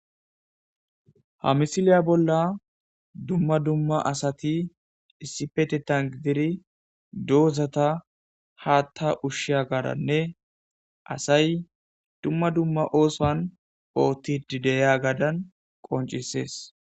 Ha misiliya bolla dumma dumma asati issipetetan gidiri doozata haatta ushshiya gaaranne asay dumma dumma oosuwan oottidi deyagadan qoncissees.